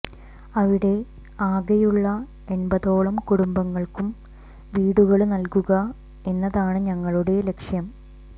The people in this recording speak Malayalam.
അവിടെ ആകെയുള്ള എണ്പതോളം കുടുംബങ്ങള്ക്കും വീടുകള് നല്കുക എന്നതാണു ഞങ്ങളുടെ ലക്ഷ്യം